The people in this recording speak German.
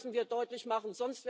Das müssen wir deutlich machen.